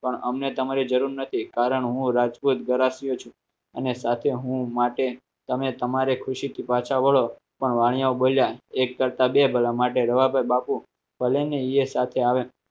પણ અમને તમારી જરૂર નથી કારણ હું રાજકોટ ગરાસિયો છું અને સાથે હું માટે તમે તમારે ખુશીથી પાછા વળો પણ વાણીયાઓ બોલ્યા એક કરતાં બે ભલા માટે રવાપર બાપુ ભલેને એ સાથે આવે